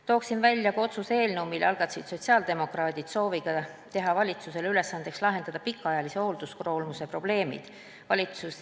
Toon välja ka otsuse eelnõu, mille algatasid sotsiaaldemokraadid sooviga teha valitsusele ülesandeks lahendada pikaajalise hoolduskoormuse probleemid.